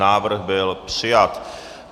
Návrh byl přijat.